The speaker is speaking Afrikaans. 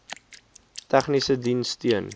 tegniese diens steun